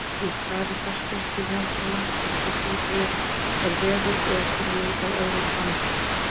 Í svari Þorsteins Vilhjálmssonar við spurningunni Er veður í einhverri mynd á öðrum plánetum?